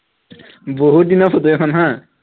বহুত দিনৰ ফটো এখন হা